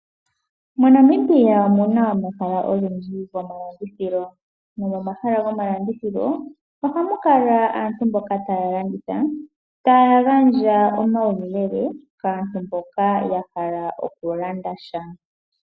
MoNamibia omuna omahala ogendji gomalandithilo, nomomahala gomalandithilo ohamu kala aantu mboka taya landitha taya gandja omauyelele kaantu mboka ya hala oku landa sha.